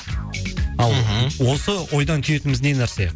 ал мхм осы ойдан түйетініміз не нәрсе